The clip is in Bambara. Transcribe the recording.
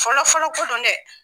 Fɔlɔfɔlɔ ko don dɛ